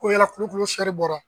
Ko yala kulokulo bɔra.